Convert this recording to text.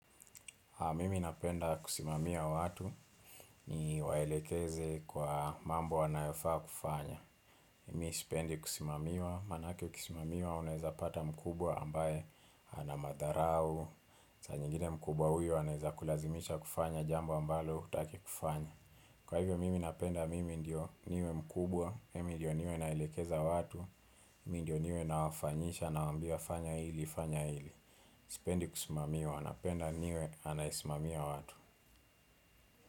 Mimi napenda kusimamia watu ni waelekeze kwa mambo wanayofaa kufanya. Mimi sipendi kusimamiwa, maanake uksimamiwa unaweza pata mkubwa ambaye anamadharau. Saa zingine mkubwa huyo anaweza kulazimisha kufanya jambo ambalo hutaki kufanya. Kwa hivyo mimi napenda mimi ndio niwe mkubwa, mimi ndio niwe naelekeza watu, mimi ndio niwe nawafanyisha nawambia fanya hili, fanya hili. Sipendi kusimamiwa, napenda niwe anayesimamia watu.